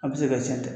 A bɛ se ka cɛn dɛ